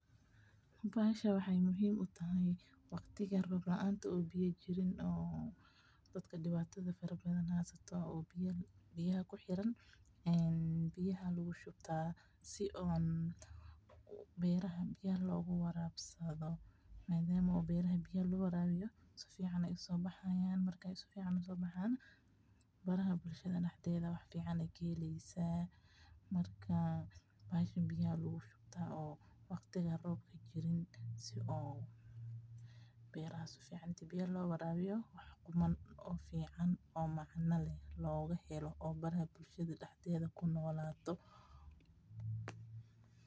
bahashan waxaay muhiim u tahay waqtiga roob laanta oo biya jirin, biyaha lagu shubtaa, si beeraha biyaha loogu waraabsada, madama biyaha beerta ubaahanyihiin, bahashan biyaha lagu keydiyaa, beshada beya fican helaan oo ay kunoladaan.